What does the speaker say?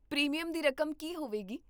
Premium ਦੀ ਰਕਮ ਕੀ ਹੋਵੇਗੀ?